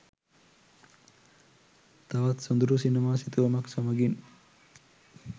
තවත් සොඳුරු සිනමා සිතුවමක් සමඟින්